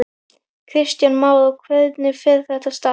Kristján Már: Og hvernig fer þetta af stað?